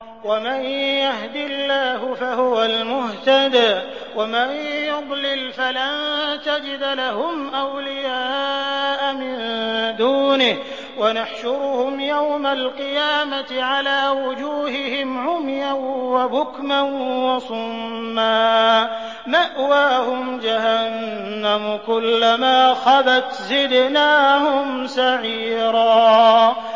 وَمَن يَهْدِ اللَّهُ فَهُوَ الْمُهْتَدِ ۖ وَمَن يُضْلِلْ فَلَن تَجِدَ لَهُمْ أَوْلِيَاءَ مِن دُونِهِ ۖ وَنَحْشُرُهُمْ يَوْمَ الْقِيَامَةِ عَلَىٰ وُجُوهِهِمْ عُمْيًا وَبُكْمًا وَصُمًّا ۖ مَّأْوَاهُمْ جَهَنَّمُ ۖ كُلَّمَا خَبَتْ زِدْنَاهُمْ سَعِيرًا